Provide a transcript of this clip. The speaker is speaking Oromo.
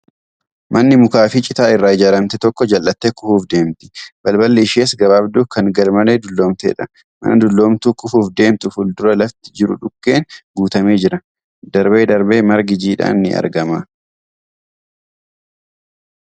Manni mukaa fi citaa irraa ijaaramte tokko jal'attee kufuuf deemti. Balballi ishees gabaabduu kan garmalee dulloomteedha. Mana dulloomtuu kufuuf deemtu fuuldura lafti jiru dhukkeen guutamee jira. Darbee darbee margi jiidhaan ni argama.